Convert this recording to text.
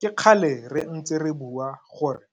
Ke kgale re ntse re bua gore